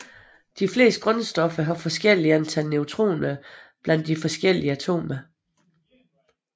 De fleste grundstoffer har forskellige antal neutroner blandt de forskellige atomer